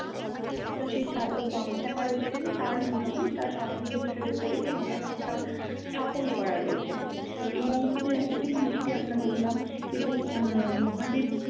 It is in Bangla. তো সেই সাধক বামাক্ষ্যাপা রয়েছেন তার মূর্তি। তার সমাধিক্ষেত্রের উপরে সেই মূর্তিটা স্থাপণ করা রয়েছে, এবং সেই মূর্তি আমরা দেখলাম এবং আহ মহাদেব